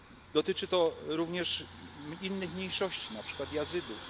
Kongres USA. Dotyczy to również innych mniejszości, na przykład